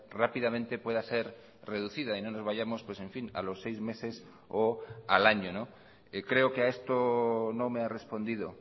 rápidamente pueda ser reducida y no nos vayamos en fin a los seis meses o al año creo que a esto no me ha respondido